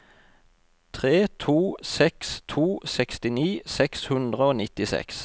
tre to seks to sekstini seks hundre og nittiseks